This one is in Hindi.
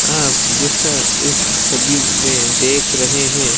आप जैसा इस छवि में देख रहे हैं।